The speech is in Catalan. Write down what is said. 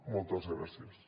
moltes gràcies